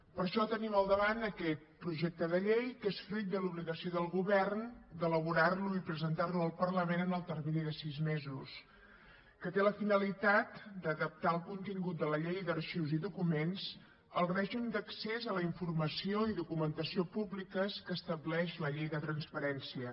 per això tenim al davant aquest projecte de llei que és fruit de l’obligació del govern d’elaborar lo i presentar lo al parlament en el termini de sis mesos que té la finalitat d’adaptar el contingut de la llei d’arxius i documents al règim d’accés a la informació i documentació públiques que estableix la llei de transparència